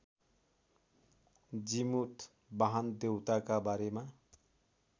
जिमूतवाहन देउताका बारेमा